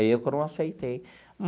Aí eu que não aceitei.